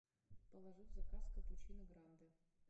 положи в заказ капучино гранде